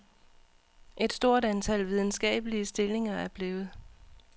Et stort antal videnskabelige stillinger er blevet